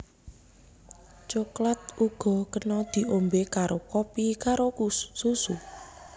Coklat uga kena diombé karo kopi karo susu